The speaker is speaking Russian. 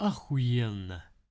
ахуенно